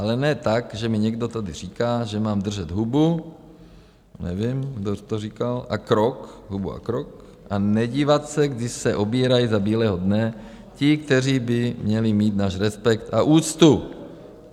Ale ne tak, že mi někdo tady říká, že mám držet hubu - nevím, kdo to říkal - a krok, hubu a krok a nedívat se, když se obírají za bílého dne ti, kteří by měli mít náš respekt a úctu.